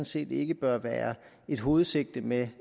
set ikke bør være et hovedsigte med